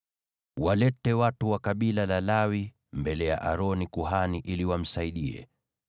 “Walete watu wa kabila la Lawi mbele ya Aroni kuhani ili wamsaidie.